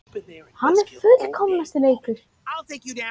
Hann er fullkomnasti leikmaðurinn.